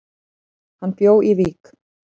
Hann bjó í Vík.